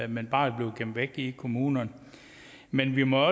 men bare er blevet gemt væk i kommunerne men vi må